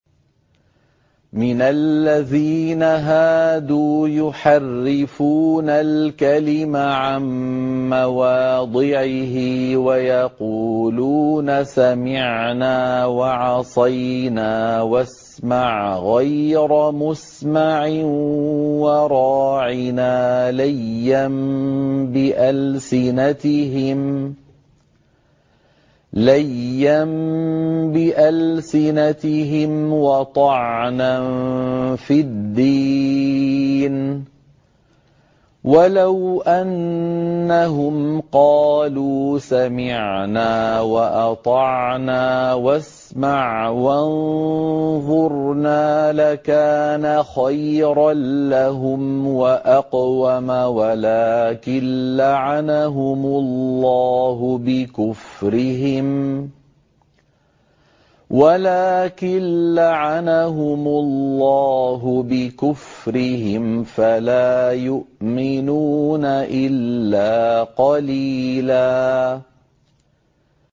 مِّنَ الَّذِينَ هَادُوا يُحَرِّفُونَ الْكَلِمَ عَن مَّوَاضِعِهِ وَيَقُولُونَ سَمِعْنَا وَعَصَيْنَا وَاسْمَعْ غَيْرَ مُسْمَعٍ وَرَاعِنَا لَيًّا بِأَلْسِنَتِهِمْ وَطَعْنًا فِي الدِّينِ ۚ وَلَوْ أَنَّهُمْ قَالُوا سَمِعْنَا وَأَطَعْنَا وَاسْمَعْ وَانظُرْنَا لَكَانَ خَيْرًا لَّهُمْ وَأَقْوَمَ وَلَٰكِن لَّعَنَهُمُ اللَّهُ بِكُفْرِهِمْ فَلَا يُؤْمِنُونَ إِلَّا قَلِيلًا